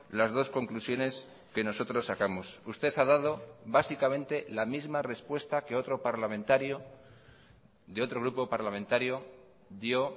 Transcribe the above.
las dos conclusiones que nosotros sacamos usted ha dado básicamente la misma respuesta que otro parlamentario de otro grupo parlamentario dio